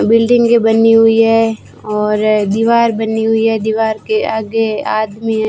बिल्डिंगे बनी हुई है और दीवार बनी हुई है दीवार के आगे आदमी है।